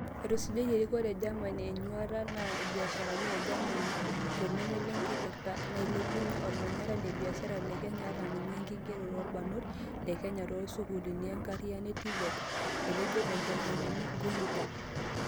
Etisujatia erikore e Germany ena nyuata naata ibiasharani e Germany tolningo lenkirta nailepunye olmanyara le biashara le Kenya ata sininye ekigeroo oorbarnot le Kenya toosukuulini enkariano e TVET," etejo entomononi Guenther.